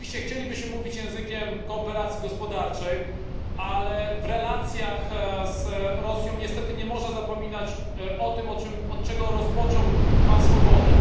Rzeczywiście chcielibyśmy mówić językiem współpracy gospodarczej, ale w relacjach z Rosją niestety nie można zapominać o tym, od czego rozpoczął pan Swoboda.